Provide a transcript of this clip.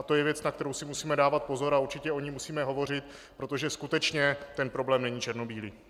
A to je věc, na kterou si musíme dávat pozor a určitě o ní musíme hovořit, protože skutečně ten problém není černobílý.